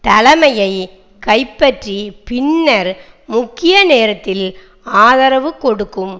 தலைமையை கைப்பற்றி பின்னர் முக்கிய நேரத்தில் ஆதரவு கொடுக்கும்